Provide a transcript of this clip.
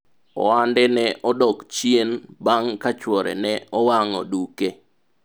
ohande ne odok chien bang' ka chuore ne owang'o duke